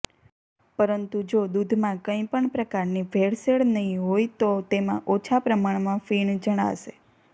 પરંતુ જો દૂધમાં કઈ પણ પ્રકારની ભેળસેળ નહીં હોય તો તેમાં ઓછા પ્રમાણમા ફીણ જણાશે